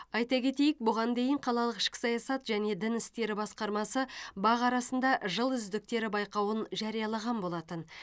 айта кетейік бұған дейін қалалық ішкі саясат және дін істері басқармасы бақ арасында жыл үздіктері байқауын жариялаған болатын